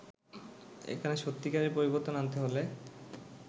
এখানে সত্যিকারের পরিবর্তন আনতে হলে